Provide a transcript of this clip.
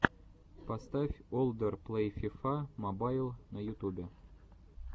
поставь олдер плэй фифа мобайл на ютубе